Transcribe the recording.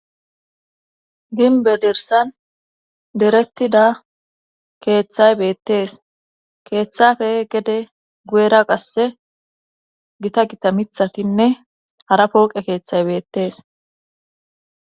Ginbe dirsan derettida keeththay beettees keeththape gede guyera qasse gita gita mithatinne hara pooqe keeththay beettees.